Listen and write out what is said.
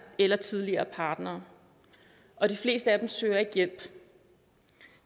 eller tidligere partnere og de fleste af dem søger ikke hjælp